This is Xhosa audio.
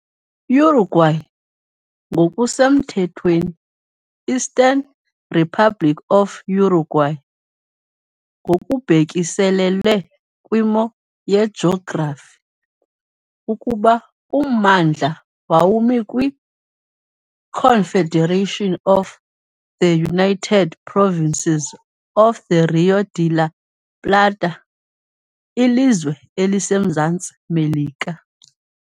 Uruguay ngokusemthethweni Eastern Republic of Uruguay, ngokubhekiselele kwimo yejografi ukuba ummandla wawumi kwi-Confederation of the United Provinces of the Rio de la Plata, lilizwe eliseMzantsi Melika .